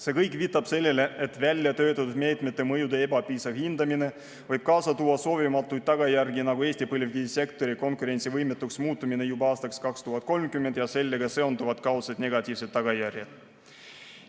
See kõik viitab sellele, et väljatöötatud meetmete mõjude ebapiisav hindamine võib kaasa tuua soovimatuid tagajärgi, nagu Eesti põlevkivisektori konkurentsivõimetuks muutumine juba aastaks 2030 ja sellega seonduvad kaudsed negatiivsed tagajärjed.